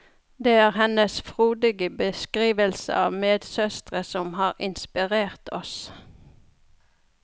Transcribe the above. Det er hennes frodige beskrivelser av medsøstre som har inspirert oss.